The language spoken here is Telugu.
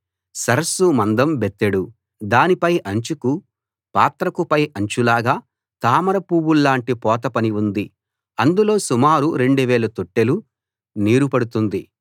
సరస్సు మందం బెత్తెడు దాని పై అంచుకు పాత్రకు పై అంచులాగా తామర పూవుల్లాంటి పోత పని ఉంది అందులో సుమారు 2000 తొట్టెలు నీరు పడుతుంది